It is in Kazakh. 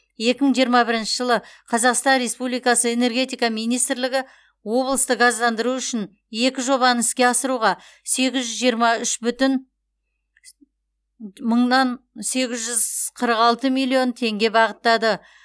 екі мың жиырма бірінші жылы қазақстан республикасы энергетика министрлігі облысты газдандыру үшін екі жобаны іске асыруға сегіз жүз жиырма үш бүтін мыңнан сегіз жүз қырық алты миллион теңге бағыттады